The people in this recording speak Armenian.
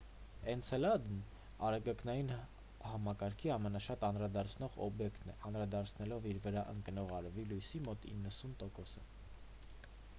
էնցելադն արեգակնային համակարգի ամենաշատ անդրադարձնող օբյեկտն է անդրադարձնելով իր վրա ընկնող արևի լույսի մոտ 90 տոկոսը